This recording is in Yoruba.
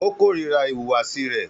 Ó kórira ìhùwàsí rẹ̀.